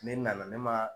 Ne nana ne ma